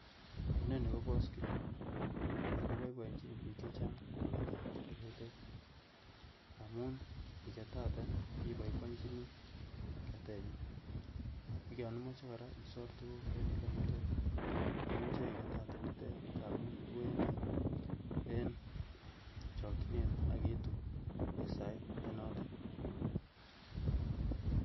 Ineni ko paskilit, ago boiboenjin biik che chang kogetat koroitet amun nigetate iboiboinjini ketenyin ak yon imoche isor tuguk en olemalo, imuche igetate nitet ngat iwendi en chokchinet ak iitu en sait ne notet.